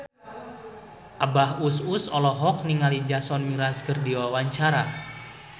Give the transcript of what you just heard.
Abah Us Us olohok ningali Jason Mraz keur diwawancara